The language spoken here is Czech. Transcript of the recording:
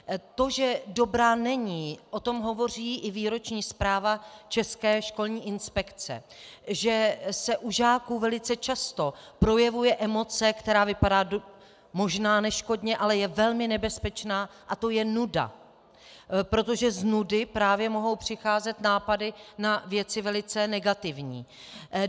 To, že dobrá není, o tom hovoří i výroční zpráva České školní inspekce, že se u žáků velice často projevuje emoce, která vypadá možná neškodně, ale je velmi nebezpečná, a to je nuda, protože z nudy právě mohou přicházet nápady na věci velice negativní.